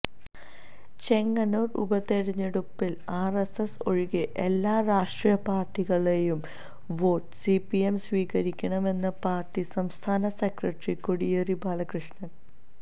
ചെങ്ങന്നൂര് ഉപതിരഞ്ഞെടുപ്പില് ആര്എസ്എസ് ഒഴികെ എല്ലാ രാഷ്ട്രീയ പാര്ട്ടികളുടെയും വോട്ട് സിപിഎം സ്വീകരിക്കുമെന്ന് പാര്ട്ടി സംസ്ഥാന സെക്രട്ടറി കോടിയേരി ബാലകൃഷ്ണന്